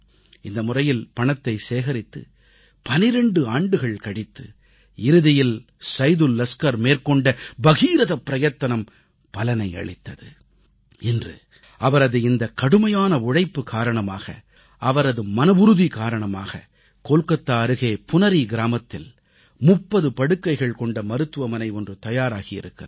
இந்த முறையில் பணத்தை சேகரித்து 12 ஆண்டுகள் கழித்து இறுதியில் சைதுல் லஸ்கர் மேற்கொண்ட பகீரத பிரயத்தனம் பலனை அளித்தது இன்று அவரது இந்தத் கடுமையான உழைப்பு காரணமாக அவரது மனவுறுதி காரணமாக கொல்கத்தா அருகே புனரீ கிராமத்தில் 30 படுக்கைகள் கொண்ட மருத்துவமனை ஒன்று தயாராகி இருக்கிறது